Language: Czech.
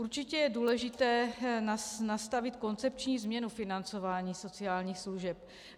Určitě je důležité nastavit koncepční změnu financování sociálních služeb.